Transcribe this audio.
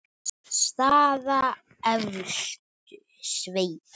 Staða efstu sveita.